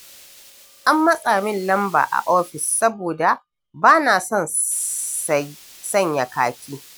An matsa min lamba a ofis saboda ba na son sanya kaki.